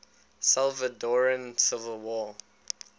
salvadoran civil war